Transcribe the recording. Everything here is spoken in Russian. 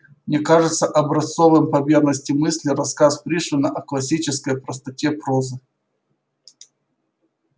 мне кажется образцовым по верности мысли рассказ пришвина о классической простоте прозы